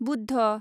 Buddha